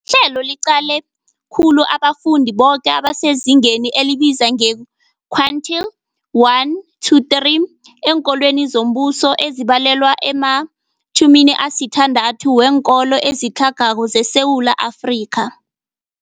Ihlelo liqale khulu abafundi boke abasezingeni elibizwa nge-quintile 1-3 eenkolweni zombuso, ezibalelwa ema-60 weenkolo ezitlhagako zeSewula Afrika.